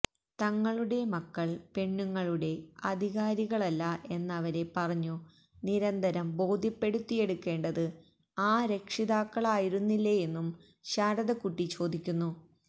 തങ്ങളുടെ മക്കള് പെണ്ണുങ്ങളുടെ അധികാരികളല്ല എന്നവരെ പറഞ്ഞു നിരന്തരം ബോധ്യപ്പെടുത്തിയെടുക്കേണ്ടത് ആ രക്ഷിതാക്കളായിരുന്നില്ലേയെന്നും ശാരദക്കുട്ടി ചോദിക്കുന്നു